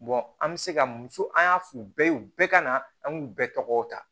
an bɛ se ka muso an y'a fɔ u bɛɛ ye u bɛɛ ka na an k'u bɛɛ tɔgɔ ta